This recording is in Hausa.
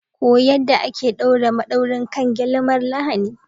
Koyi yadda ake ɗaure madaurin kan gele mara lahani.